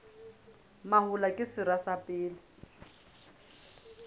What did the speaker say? mahola ke sera sa pele